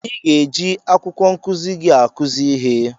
I ga-eji akwụkwọ nkụzi gị akụzi ihe.